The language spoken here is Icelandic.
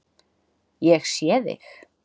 Ég sé þig